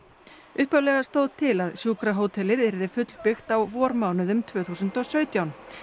upphaflega stóð til að sjúkrahótelið yrði fullbyggt á vormánuðum tvö þúsund og sautján